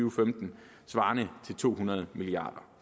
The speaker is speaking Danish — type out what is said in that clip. og femten svarende til to hundrede milliard